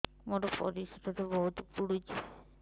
ମୋର ପରିସ୍ରା ବହୁତ ପୁଡୁଚି